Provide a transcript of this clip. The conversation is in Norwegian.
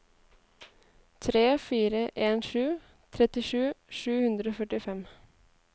tre fire en sju trettisju sju hundre og førtifem